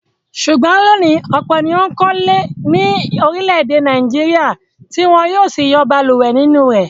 Ṣùgbọ́n lónìí, ọ̀pọ̀ ni ó ń kọ́lé ní orílẹ̀-èdè Nàìjíríà tí wọ ń yóò sì yọ balùwẹ̀ nínú rẹ̀.